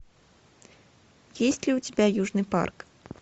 есть ли у тебя южный парк